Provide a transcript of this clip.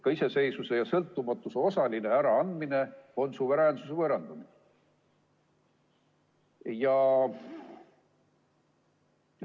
Ka iseseisvuse ja sõltumatuse osaline äraandmine on suveräänsuse võõrandamine.